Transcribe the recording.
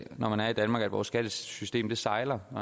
når man er i danmark at vores skattesystem sejler